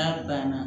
N'a banna